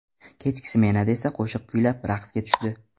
Kechki smenada esa qo‘shiq kuylab, raqsga tushdi.